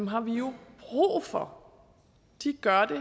har vi jo brug for de gør det